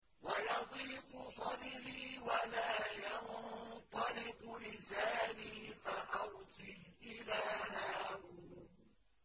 وَيَضِيقُ صَدْرِي وَلَا يَنطَلِقُ لِسَانِي فَأَرْسِلْ إِلَىٰ هَارُونَ